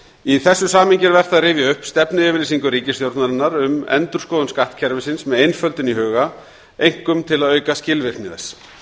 í þessu samhengi er vert að rifja upp stefnuyfirlýsingu ríkisstjórnarinnar um endurskoðun skattkerfisins með einföldun í huga einkum til að auka skilvirkni þess